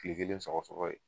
Tile kelen sɔgɔsɔgɔ ye